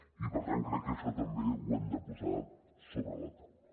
i per tant crec que això també ho hem de posar sobre la taula